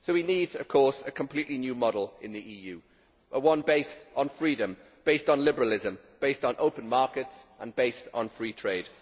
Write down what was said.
So we need a completely new model in the EU one based on freedom, based on liberalism, based on open markets and based on free trade.